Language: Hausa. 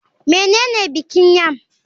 Menene bikin yam?